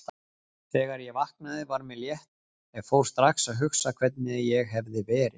Þegar ég vaknaði var mér létt en fór strax að hugsa hvernig ég hefði verið.